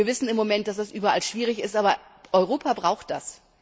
Wir wissen im Moment, dass es überall schwierig ist, aber Europa braucht das.